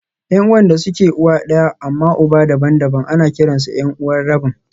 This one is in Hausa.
Yan'uwan da suke uwa ɗaya amma uba daban-daban ana kiransu 'yan'uwa rabin